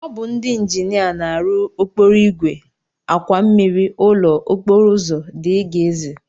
Ọ bụ ndị injinia na-arụ okporoigwe, àkwà mmmiri, ụlọ, okporoụzọ dgz.